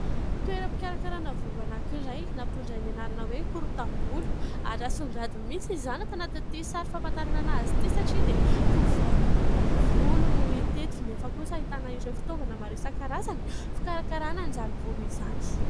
Toeram-pikarakarana volo anankiray, nampitondrainy anarana hoe : korotam-Bolo ary asongadiny mihitsy izany tanatin'ity sary famantarana an' azy ity, satria dia tovovavy mikorotana volo no hita teto ; nefa kosa ahitana ireo fitaovana maro isan-karazany, fikarakarana an'izany volo izany.